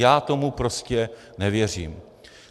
Já tomu prostě nevěřím!